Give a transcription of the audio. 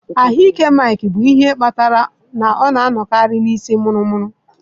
Ahụ ike Mike bụ ihe kpatara na ọ na-anọkarị na isii muru muru.